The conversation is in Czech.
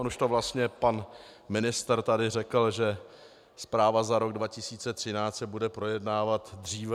On už to vlastně pan ministr tady řekl, že zpráva za rok 2013 se bude projednávat dříve.